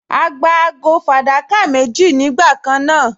A gba ago fàdákà méjì nígbà kan náà